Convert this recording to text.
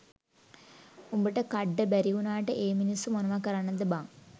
උඹට කඩ්ඩ බැරිවුණාට ඒ මිනිස්සු මොනව කරන්නද බං?